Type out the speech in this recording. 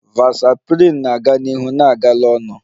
Vasoprin na-aga n'ihu na-agala onu